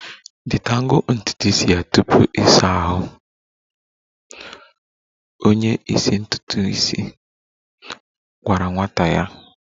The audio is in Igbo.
Detangle ntutu isi ya tupu ịsa ahụ! Onye isi ntutu isi gwara nwata ya